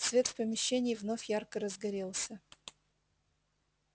свет в помещении вновь ярко разгорелся